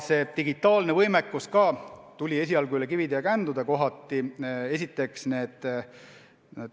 Ka digitaalne võimekus tuli kohati üle kivide ja kändude.